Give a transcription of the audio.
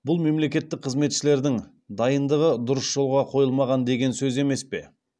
бұл мемлекеттік қызметшілердің дайындығы дұрыс жолға қойылмаған деген сөз емес пе